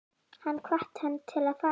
Hann hvatti hana til að fara til